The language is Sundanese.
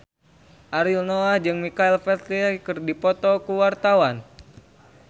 Ariel Noah jeung Michael Flatley keur dipoto ku wartawan